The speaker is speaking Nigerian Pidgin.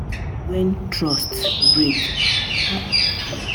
Wen trust break, yu go nid time and honesty um to fix am.